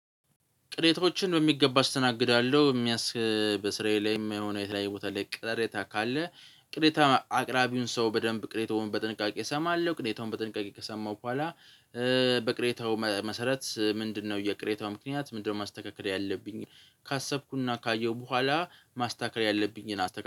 ቅሬታዎችን በሚገባ አስተናግዳለሁ በሚያስ በስራዬ ላይም የሆነ የተለያየ ቦታ ላይ ቅሬታ ካለ ቅሬታ አቅራቢውን ሰው በደንብ ቅሬታውን በጥንቃቄ እሰማለሁ። ቅሬታውን በጥንቃቄ ከሰማሁ ከኋላ በቅሬታው መሰረት ምንድነው? የቅሬታው ምክንያት ምንድነው? ማስተካከል ያለብኝ ካሰብኩና ካየሁ በኋላ ማስተካከል ያለብኝን አስተካክላለው